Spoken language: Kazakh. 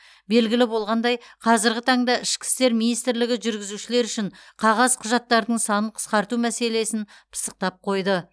белгілі болғандай қазіргі таңда ішкі істер министрлігі жүргізушілер үшін қағаз құжаттардың санын қысқарту мәселелесін пысықтап қойды